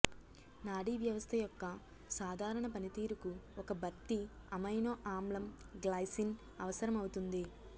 నాడీ వ్యవస్థ యొక్క సాధారణ పనితీరుకు ఒక భర్తీ అమైనో ఆమ్లం గ్లైసిన్ అవసరమవుతుంది